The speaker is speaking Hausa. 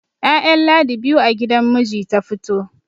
ya'yan ladi biyu a gidan miji ta fito